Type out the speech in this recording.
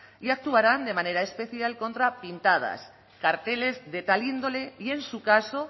y actuarán de manera especial contra las pintadas y carteles de tal índole y en su caso